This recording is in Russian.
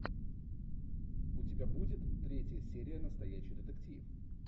у тебя будет третья серия настоящий детектив